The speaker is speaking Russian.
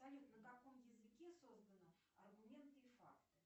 салют на каком языке создана аргументы и факты